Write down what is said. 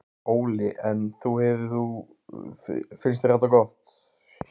Óli: En þú hefur þú, finnst þér þetta gott?